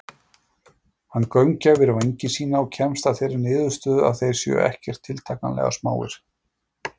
Hann gaumgæfir vængi sína og kemst að þeirri niðurstöðu að þeir séu ekkert tiltakanlega smáir.